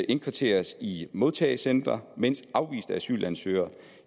indkvarteres i modtagecentre mens afviste asylansøgere